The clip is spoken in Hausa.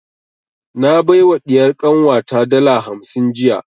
Na bai wa ɗiyar kanwa ta dala hamsin jiya